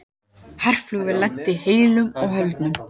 Herflugvél lenti heilu og höldnu